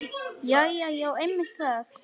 Jæja já, einmitt það.